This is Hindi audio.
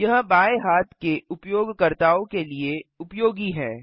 यह बाएँ हाथ के उपयोगकर्ताओं के लिए उपयोगी है